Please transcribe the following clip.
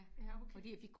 Ja okay